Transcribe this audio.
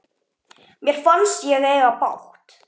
Mér fannst ég eiga bágt.